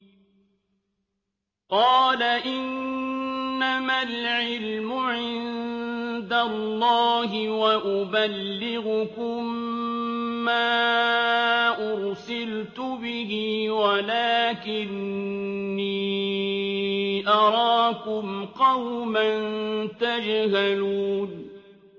قَالَ إِنَّمَا الْعِلْمُ عِندَ اللَّهِ وَأُبَلِّغُكُم مَّا أُرْسِلْتُ بِهِ وَلَٰكِنِّي أَرَاكُمْ قَوْمًا تَجْهَلُونَ